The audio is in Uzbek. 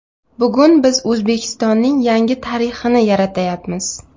Bugun biz O‘zbekistonning yangi tarixini yaratyapmiz.